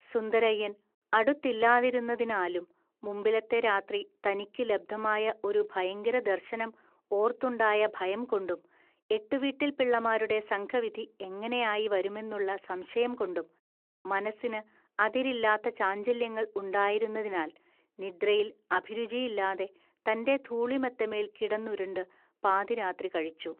സുന്ദരയ്യൻ അടുത്തില്ലാതിരുന്നതിനാലും, മുമ്പിലത്തെ രാത്രി തനിക്കു ലബ്ധമായ ഒരു ഭയങ്കരദർശനം ഓർത്തുണ്ടായഭയംകൊണ്ടും, എട്ടുവീട്ടിൽപിള്ളമാരുടെ സംഘവിധി എങ്ങനെയായി വരുമെന്നുള്ള സംശയംകൊണ്ടും, മനസ്സിന് അതിരില്ലാത്ത ചാഞ്ചല്യങ്ങൾ ഉണ്ടായിരുന്നതിനാൽ നിദ്രയിൽ അഭിരുചിയില്ലാതെ തന്റെ ധൂളിമെത്തമേൽ കിടന്നുരുണ്ടു പാതിരാത്രി കഴിച്ചു